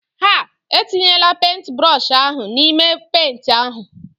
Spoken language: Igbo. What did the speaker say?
Ah! etinyela pentbrọshi ahụ n'ime penti ahụ!